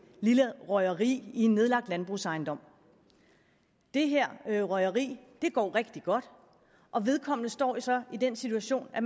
lille røgeri i en nedlagt landbrugsejendom og det her her røgeri går rigtig godt og vedkommende står så i den situation at